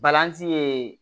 Balanzan ye